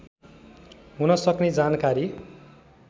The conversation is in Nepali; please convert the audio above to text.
हुन सक्ने जानकारी